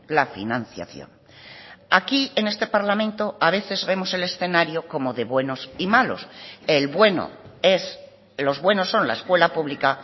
la financiación aquí en este parlamento a veces vemos el escenario como de buenos y malos el bueno es los buenos son la escuela pública